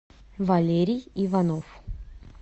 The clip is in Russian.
валерий иванов